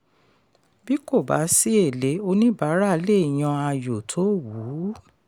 bí kò bá sí èlé oníbàárà le yan ayò tó wù ú.